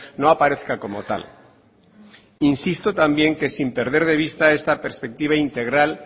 no aparezca como tal insisto también que sin perder de vista esta perspectiva integral